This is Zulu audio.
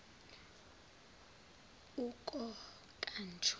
ukokanjo